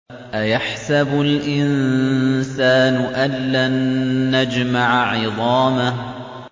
أَيَحْسَبُ الْإِنسَانُ أَلَّن نَّجْمَعَ عِظَامَهُ